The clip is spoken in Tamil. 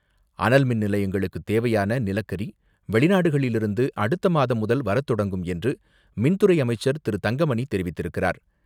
அனல் மின் நிலையங்களுக்குத் தேவையான நிலக்கரி வெளிநாடுகளிலிருந்து அடுத்த மாதம் முதல் வரத்தொடங்கும் என்று மின்துறை அமைச்சர் திரு.தங்கமணி தெரிவித்திருக்கிறார்.